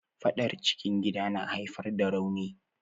Faɗar cikin gida na haifar da rauni.